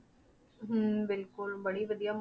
ਹਮ ਬਿਲਕੁਲ ਬੜੀ ਵਧੀਆ।